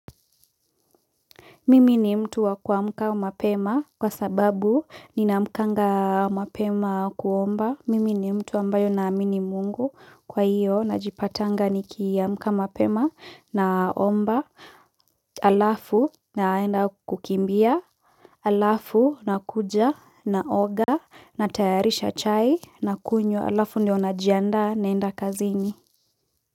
Mimi ni mtu wa kuamka mapema kwa sababu ni na amkanga mapema kuomba. Mimi ni mtu ambayo naamini mungu kwa hiyo na jipatanga ni kia mka mapema na omba alafu na enda kukimbia alafu na kuja na oga na tayarisha chai na kunywa alafu ndio na jianda na enda kazini.